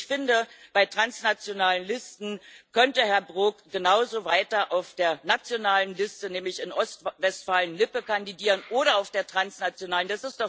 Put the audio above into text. Ich finde, bei transnationalen Listen könnte Herr Brok genauso weiter auf der nationalen Liste, nämlich in Ostwestfalen Lippe, kandidieren oder auf der transnationalen.